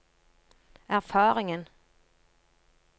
erfaringen